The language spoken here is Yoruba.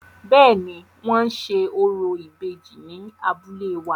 Bẹ́ẹ̀ni, wọ́n ṣe orò ìbejì ni abúlé wa.